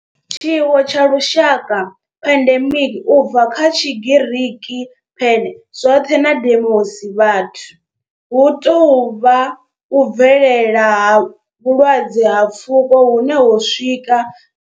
Tshiwo tsha lushaka pandemic, u bva kha Tshigiriki pan, zwoṱhe na demos, vhathu hu tou vha u bvelela ha vhulwadze ha pfuko hune ho swika.